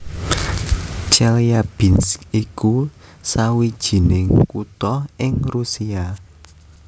Chelyabinsk iku sawijining kutha ing Rusia